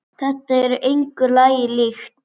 Þetta er engu lagi líkt.